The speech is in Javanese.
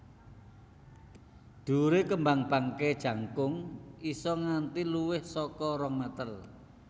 Dhuwure kembang bangkai jangkung isa nganti luwih saka rong meter